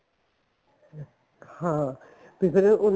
ਹਾਂ ਤੇ ਜਿਵੇਂ ਉਹਨੂੰ